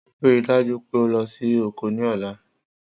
Rii daju pe o lọ si oko ni ọla.